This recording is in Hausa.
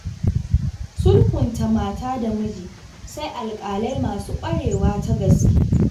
Sulhunta mata da miji sai alƙalai masu ƙwarewa ta gaske.